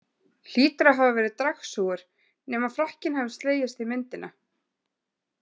Hlýtur að hafa verið dragsúgur, nema frakkinn hafin slegist í myndina?